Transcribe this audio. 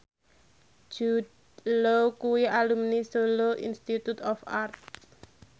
Jude Law kuwi alumni Solo Institute of Art